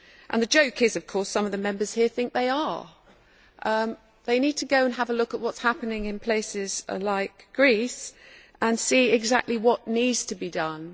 The joke is, of course, that some of the Members here think they are. They need to go and have a look at what is happening in places like Greece and see exactly what needs to be done.